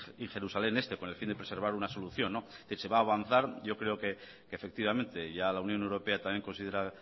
y jerusalén este con el fin de preservar una solución que se va a avanzar yo creo que efectivamente ya la unión europea también considera